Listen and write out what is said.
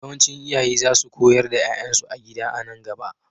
Yawancin iyaye za su koyar da 'ya'yansu a gida a nan gaba.